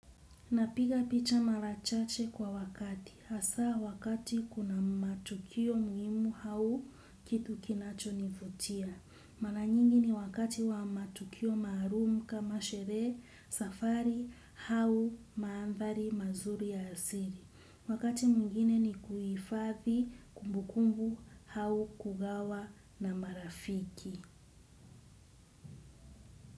Napiga picha mara chache kwa wakati. Hasa wakati kuna matukio muhimu au kitu kinachonivutia. Mara nyingi ni wakati wa matukio maalumu kama sherehe, safari au mandhari mazuri ya asili. Wakati mwingine ni kuhifathi, kumbukumbu, au kugawa na marafiki.